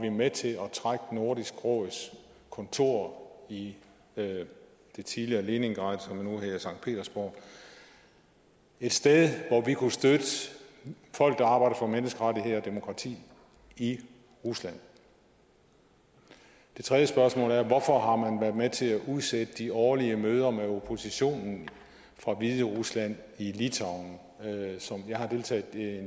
med til at trække nordisk råds kontor i det tidligere leningrad som nu hedder sankt petersborg et sted hvor vi kunne støtte folk der arbejder for menneskerettigheder og demokrati i rusland det tredje spørgsmål er hvorfor har man været med til at udsætte de årlige møder med oppositionen fra hviderusland i litauen jeg har deltaget